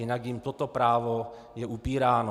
Jinak jim toto právo je upíráno.